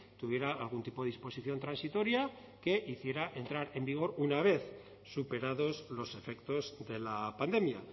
tuviera algún tipo de disposición transitoria que hiciera entrar en vigor una vez superados los efectos de la pandemia